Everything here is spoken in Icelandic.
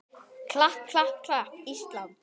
klapp, klapp, klapp, Ísland!